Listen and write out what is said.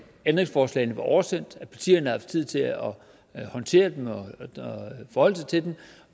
ændringsforslagene var oversendt at partierne havde haft tid til at håndtere dem og forholde sig til dem